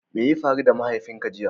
Mai ya faru da mahaifin ka jiya?